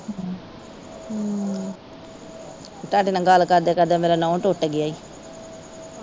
ਤੁਹਾਡੇ ਨਾ ਗੱਲ ਕਰਦਿਆਂ ਕਰਦਿਆਂ ਮੇਰਾ ਨੋਹ ਟੁੱਟ ਗਿਆ ਈ।